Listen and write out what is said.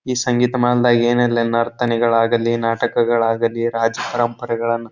ಈ ಸಂಗೀತ ಮಹಲ್ ದಾಗ್ ಏನೆಲ್ಲಾ ನರ್ತನೆ ಗಳಾಗಲಿ ನಾಟಕ ಗಳಾಗಲಿ ರಾಜ ಪರಂಪರೆ ಗಳನ್ನ --